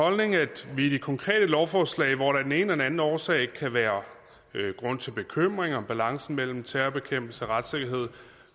holdning at vi i det konkrete lovforslag hvor der af den ene eller anden årsag kan være grund til bekymring om balancen mellem terrorbekæmpelse og retssikkerhed